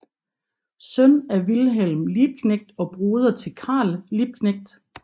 Søn af Wilhelm Liebknecht og broder til Karl Liebknecht